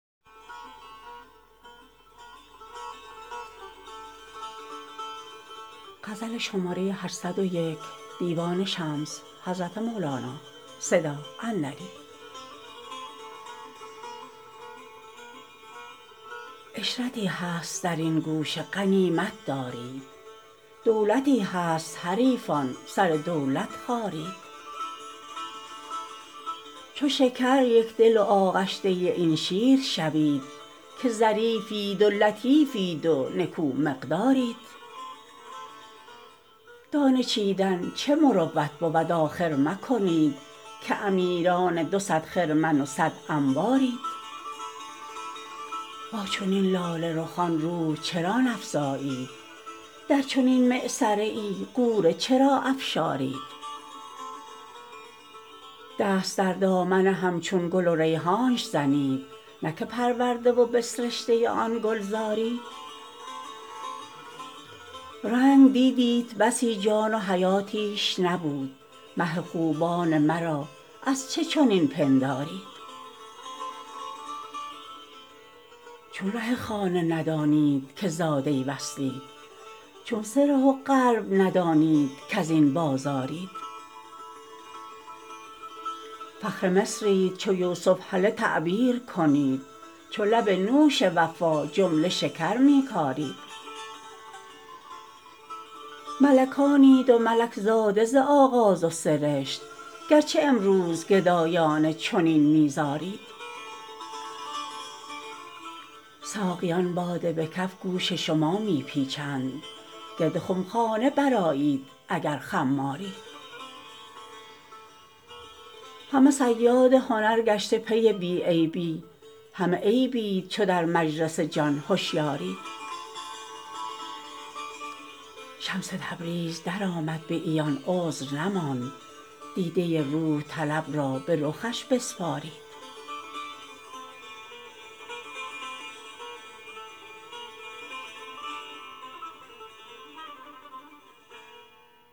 عشرتی هست در این گوشه غنیمت دارید دولتی هست حریفان سر دولت خارید چو شکر یک دل و آغشته این شیر شوید که ظریفید و لطیفید و نکومقدارید دانه چیدن چه مروت بود آخر مکنید که امیران دو صد خرمن و صد انبارید با چنین لاله رخان روح چرا نفزایید در چنین معصره ای غوره چرا افشارید دست در دامن همچون گل و ریحانش زنید نه که پرورده و بسرشته آن گلزارید رنگ دیدیت بسی جان و حیاتیش نبود مه خوبان مرا از چه چنین پندارید چون ره خانه ندانید که زاده وصلید چون سره و قلب ندانید کز این بازارید فخر مصرید چو یوسف هله تعبیر کنید چو لب نوش وفا جمله شکر می کارید ملکانید و ملک زاده ز آغاز و سرشت گرچه امروز گدایانه چنین می زارید ساقیان باده به کف گوش شما می پیچند گرد خمخانه برآیید اگر خمارید همه صیاد هنر گشته پی بی عیبی همه عیبید چو در مجلس جان هشیارید شمس تبریز درآمد به عیان عذر نماند دیده روح طلب را به رخش بسپارید